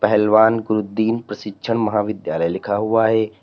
पहलवान गुरुदीन प्रशिक्षण महाविद्यालय लिखा हुआ है।